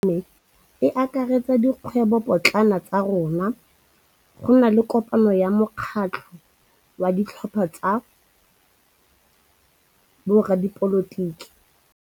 Kgwêbô ya malome wa me e akaretsa dikgwêbôpotlana tsa rona. Go na le kopanô ya mokgatlhô wa ditlhopha tsa boradipolotiki.